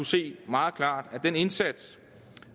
se meget klart at den indsats